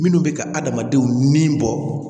Minnu bɛ ka adamadenw ni bɔ